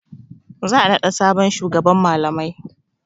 Za a naɗa sabon shugaban malamai.